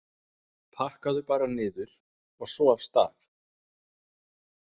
Pakkaðu bara niður, og svo af stað!